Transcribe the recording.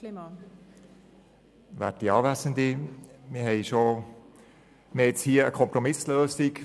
Wir haben hier eine mehrheitsfähige Kompromisslösung.